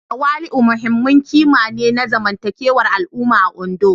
Tawali'u muhimmin ƙima ne na zamantakewar al'umma a Ondo